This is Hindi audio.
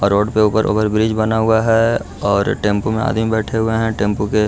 और रोड के ऊपर मे ओवरब्रिज बना हुआ है और टेंपू मे आदमी बैठे हुए है टैम्पू के --